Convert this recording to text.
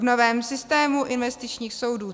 V novém systému investičních soudů